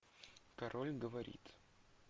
король говорит